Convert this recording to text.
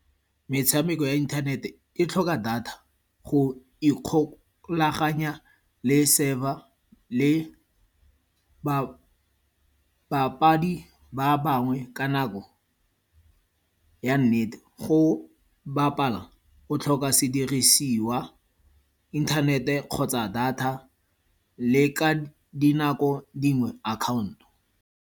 Metshameko ya inthanete e tlhoka data go ikgolaganya le server, le babapadi ba bangwe ka nako ya nnete. Go bapala, o tlhoka sedirisiwa, inthanete kgotsa data le ka dinako dingwe, account-o.